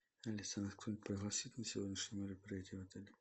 алиса нас кто нибудь пригласит на сегодняшнее мероприятие в отеле